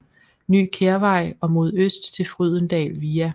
Ny Kærvej og mod øst til Frydendal via